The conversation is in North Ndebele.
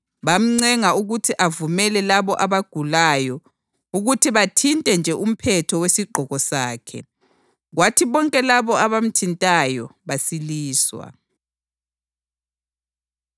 bamncenga ukuthi avumele labo abagulayo ukuthi bathinte nje umphetho wesigqoko sakhe, kwathi bonke labo abamthintayo basiliswa.